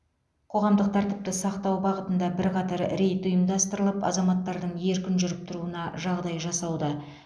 қоғамдық тәртіпті сақтау бағытында бірқатар рейд ұйымдастырылып азаматтардың еркін жүріп тұруына жағдай жасауда